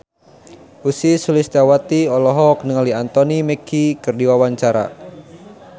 Ussy Sulistyawati olohok ningali Anthony Mackie keur diwawancara